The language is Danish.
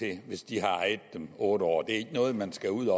det hvis de har ejet det i otte år det er ikke noget man skal ud